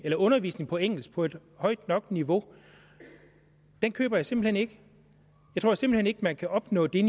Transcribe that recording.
undervisning på engelsk på et højt nok niveau køber jeg simpelt hen ikke jeg tror simpelt hen ikke man kan opnå det